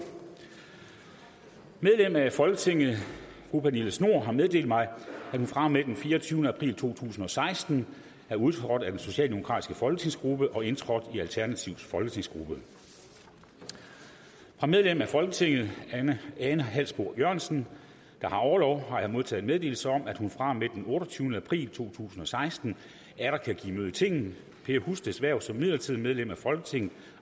medlem af folketinget fru pernille schnoor har meddelt mig at hun fra og med den fireogtyvende april to tusind og seksten er udtrådt af den socialdemokratiske folketingsgruppe og indtrådt i alternativets folketingsgruppe fra medlem af folketinget ane halsboe jørgensen der har orlov har jeg modtaget meddelelse om at hun fra og med den otteogtyvende april to tusind og seksten atter kan give møde i tinget per husteds hverv som midlertidigt medlem af folketinget